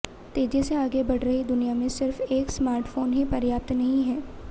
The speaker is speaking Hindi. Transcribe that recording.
तेजी से आगे बढ़ रही दुनिया में सिर्फ एक स्मार्टफोन ही पर्याप्त नहीं है